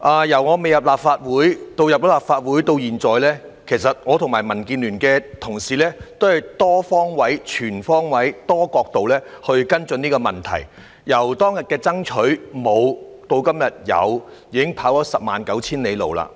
由我未進入立法會，以至進入立法會至今，其實我和民建聯的同事均從多方位、全方位及多角度跟進這問題，由當日的爭取，由"沒有"至今天"有"，已跑了十萬九千里路。